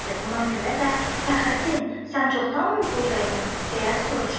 Buna görə də, Fəxrəddin, sən çoxdanmı buradaydın?